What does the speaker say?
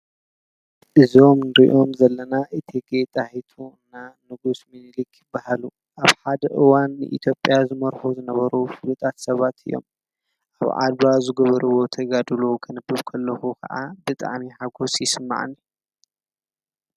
እዞም እንርኦም ዘለና እቲጌ ጣይቱን ንጉስ ምንሊክን ይባሃሉ። ኣብ ሓደ እዋን ኣብ ኢትዮጵያ ዝመርሑ ዝነበሩ ፍሉጣት ሰባት እዩም። ኣብ ዓድዋ ዝገበረዎ ተጋድሎ ከንብብ ከለኩ ካኣ ብጣዕሚ ሓጎስ ይስማዓኒ።